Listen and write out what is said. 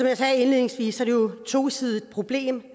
jeg sagde indledningsvis er det jo et tosidigt problem